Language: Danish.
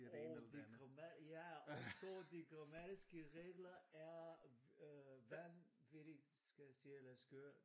Åh de gramma ja også de grammatiske regler er øh vanvittigt skal siger jeg dig skøre